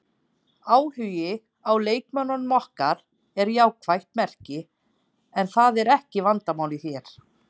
Áhugi á leikmönnum okkar er jákvætt merki en það er ekki vandamálið hér.